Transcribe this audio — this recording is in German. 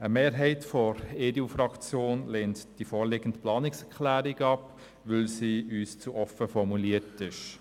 Eine Mehrheit der EDU-Fraktion lehnt die vorliegende Planungserklärung ab, weil sie uns zu offen formuliert ist.